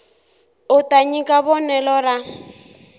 u ta nyika vonelo ra